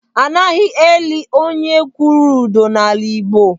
Anaghị eli onye kwụrụ ụdọ n'ala Igbo.